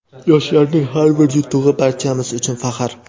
Yoshlarning har bir yutug‘i - barchamiz uchun faxr!.